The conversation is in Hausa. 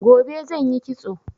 Gobe zan yi kitso